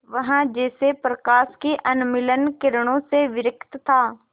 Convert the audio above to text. वह जैसे प्रकाश की उन्मलिन किरणों से विरक्त था